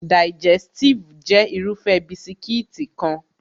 Digẹstive jẹ́ Irúfẹ́ bisikíìtì kan